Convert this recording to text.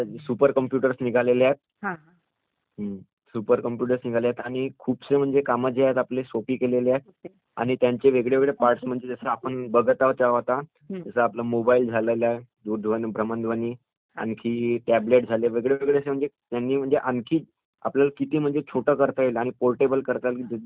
हम्म...सुपर computers निघालेत आणि खूपसे म्हणजे कामाचे आहेत आपल्या सोपी केलेले आहेत आणि त्यांचे वेगळे वेगळे पार्टस् म्हणजे जसं आपण बघत आहोत आता जसं आपला मोबाइल झाला..भ्रमणध्वनी, आणखी टॅबलेट झाले म्हणजे वेगळेवेगळे झाले म्हणजे आणखी आपल्याला किती छोटं करता येईल आणि पोर्टेबल करता येईल जेणेकरुन आपण इकडचं तिकडे नेता येईल आपल्याला